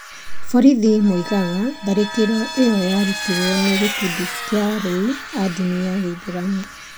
Borithi moigaga tharĩkĩro ĩyo yarutirũo nĩ gĩkundi kĩa aroi a ndini ya gĩithĩramu.